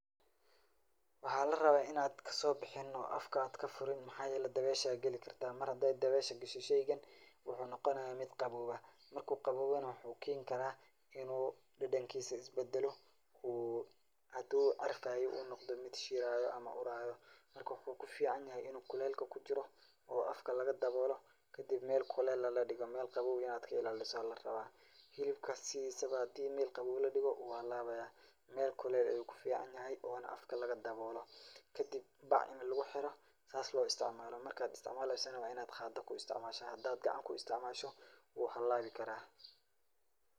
Waxa la rabaa inad kasoo bixinin oo afka ad kafurin maxayele dabeesha geli karta, Mar haday dabeesha gasho sheygan wuxuu noqonaya mid qabow ah, marku qaboobo na wuxuu Ken karaa inu dhadhenkisa is badalo uu haduu carfaye uu noqdo mid shiraya ama uraayo marka wuxuu kuficanya inu kulelka kujiro oo afka lagadaboolo kadib Mel kulel ah ladhigo, Mel qabow inad ka ilaaliso aya larabaa, hilibka sidisba hadii Mel qabow ladhigo wuu halabaya Mel kulel ayu kuficanyahay ona afka laga daboolo kadib bac ini lugu xiro sas lugu isticmaalo markad isticmaaleyso na wa inad qaada ku isticmaasho hadad kuisticmaasho wuu halabi karaa